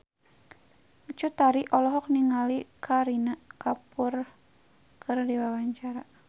Cut Tari olohok ningali Kareena Kapoor keur diwawancara